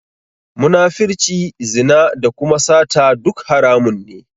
Munafirci, zina da kuma sata duk haramun ne.